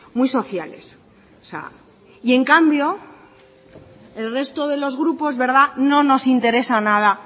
muy sociales o sea y en cambio el resto de los grupos verdad no nos interesa nada